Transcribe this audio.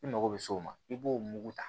I mago bɛ s'o ma i b'o mugu ta